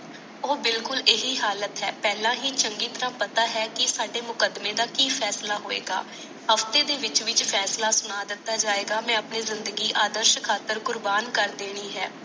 ਉਹ ਬਿਲਕੁਲ ਆਹੀ ਹਾਲਾਤ ਹੈ ਪਹਲਾ ਹੀ ਚੰਗੀ ਤਾਰਾ ਪਤਾ ਹੈ ਕੀ ਸਾਡੇ ਮੁਕੱਦਮੇ ਦਾ ਕਿ ਫੈਸਲਾ ਹੋਇਗਾ ਹਫਤੇ ਦੇ ਵਿਚ ਵਿਚ ਫੈਸਲਾ ਸੁਣਾ ਦਿਤਾ ਜਾਇਗਾ ਮੈ ਆਪਣੀ ਜਿੰਦਗੀ ਆਦਰਸ਼ ਖਾਤਰ ਕੁਰਬਾਨ ਕਰ ਦੇਣੀ ਹੈ